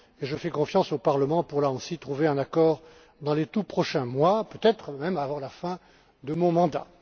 Je fais confiance au Parlement pour trouver là aussi un accord dans les tout prochains mois, peut être même avant la fin de mon mandat.